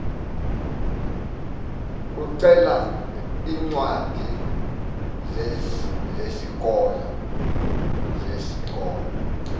ucele iincwadi zesikolo